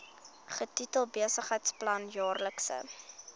getitel besigheidsplan jaarlikse